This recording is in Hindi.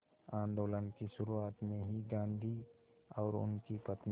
आंदोलन की शुरुआत में ही गांधी और उनकी पत्नी